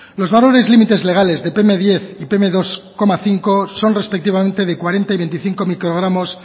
los valores límites legales de pm diez y pm dos coma cinco son respectivamente de cuarenta y veinticinco microgramos